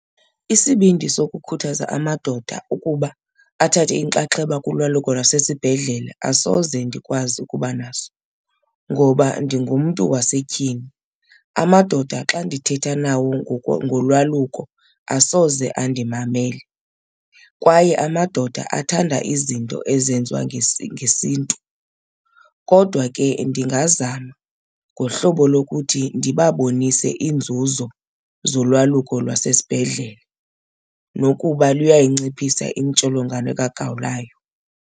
Isibindi sokukhuthaza amadoda ukuba athathe inxaxheba kulwaluko lwasesibhedlele asoze ndikwazi ukuba naso ngoba ndingumntu wasetyhini. Amadoda xa ndithetha nawo ngolwaluko asoze andimamele kwaye amadoda athanda izinto ezenziwa ngesiNtu. Kodwa ke ndingazama ngohlobo lokuthi ndibabonise iinzuzo zolwaluko lwasesibhedlele nokuba luyayinciphisa intsholongwane kagawulayo.